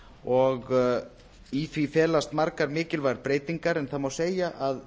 og í því felast margar mikilvægar breytingar en það má segja að